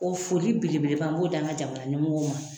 O foli belebeleba n b'o d'an ka jamana ɲɛmɔgɔw ma